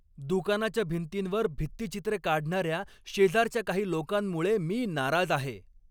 दुकानाच्या भिंतींवर भित्तिचित्रे काढणाऱ्या शेजारच्या काही लोकांमुळे मी नाराज आहे.